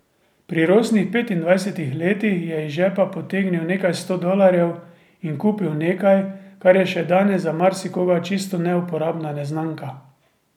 Pri rosnih petindvajsetih letih je iz žepa potegnil nekaj sto dolarjev in kupil nekaj, kar je še danes za marsikoga čisto neuporabna neznanka.